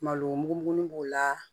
Malo mugumugunin b'o la